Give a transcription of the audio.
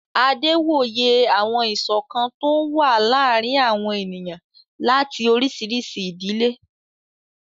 Adé wòye àwọn ìṣọ̀kan tó ń wà láàrin àwọn ènìyàn láti oríṣiríṣi ìdílé